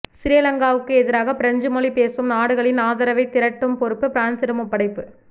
சிறிலங்காவுக்கு எதிராக பிரெஞ்சு மொழி பேசும் நாடுகளின் ஆதரவைத் திரட்டும் பொறுப்பு பிரான்சிடம் ஒப்படைப்பு